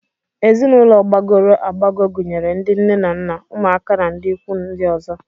Ezinụlọ gbagọrọ agbagọ gunyere ndị nne na nna, ụmụaka na ndị ikwu ndị ọzọ